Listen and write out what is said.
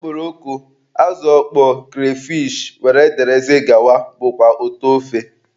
Okporoko, azụ ọkpọọ, kreyfish wdg bụkwa ụtọ ofe.